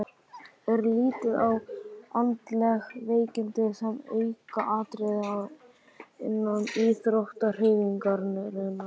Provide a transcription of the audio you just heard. Er litið á andleg veikindi sem aukaatriði innan íþróttahreyfingarinnar?